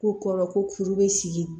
K'u kɔrɔ ko furu bɛ sigi